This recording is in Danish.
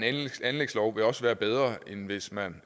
anlægslov vil også være bedre end hvis man